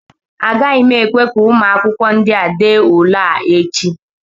Agaghị m ekwe ka ụmụ akwụkwọ ndịa dee ule a echi